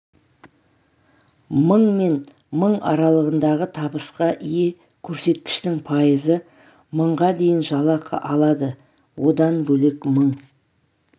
мың мен мың аралығындағы табысқа ие көрсеткіштің пайызы мыңға дейін жалақы алады одан бөлек мың